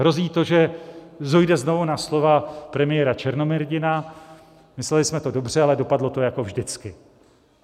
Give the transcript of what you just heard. Hrozí to, že dojde znovu na slova premiéra Černomyrdina: Mysleli jsme to dobře, ale dopadlo to jako vždycky.